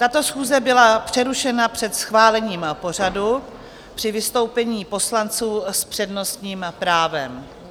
Tato schůze byla přerušena před schválením pořadu při vystoupení poslanců s přednostním právem.